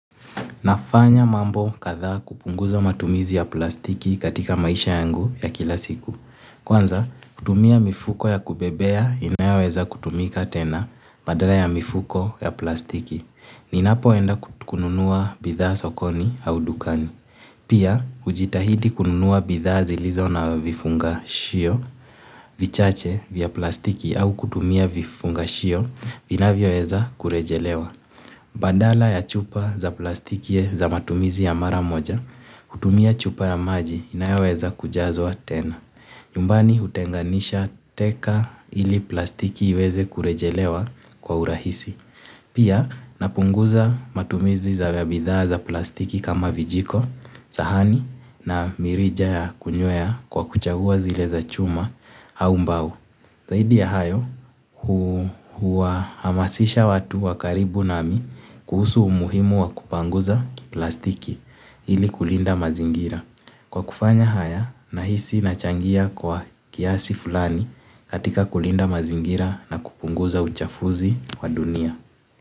Nafanya mambo katha kupunguza matumizi ya plastiki katika maisha yangu ya kila siku. Kwanza kutumia mifuko ya kubebea inayoweza kutumika tena badala ya mifuko ya plastiki ninapoenda kununua bitha sokoni au dukani. Pia, hujitahidi kununua bitha zilizo na vifunga shio, vichache vya plastiki au kutumia vifunga shio, vinavyo weza kurejelewa. Bandala ya chupa za plastiki za matumizi ya maramoja, hutumia chupa ya maji inayoweza kujazwa tena. Nyumbani hutenganisha teka ili plastiki iweze kurejelewa kwa urahisi. Pia napunguza matumizi za weabitha za plastiki kama vijiko, sahani na mirija ya kunywea kwa kuchagua zile za chuma au mbao. Zaidi ya hayo, hua hamasisha watu wakaribu nami kuhusu umuhimu wa kupanguza plastiki ili kulinda mazingira. Kwa kufanya haya, nahisi nachangia kwa kiasi fulani katika kulinda mazingira na kupunguza uchafuzi wa dunia.